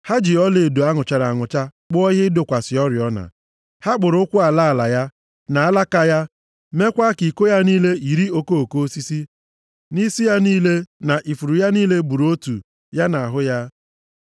Ha ji ọlaedo a nụchara anụcha kpụọ ihe ịdọkwasị oriọna. Ha kpụrụ ụkwụ ala ala ya, na alaka ya, mekwaa ka iko ya niile yiri okoko osisi, nʼisi ya niile, na ifuru ya niile bụrụ otu ya na ahụ ya.